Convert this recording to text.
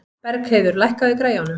Bergheiður, lækkaðu í græjunum.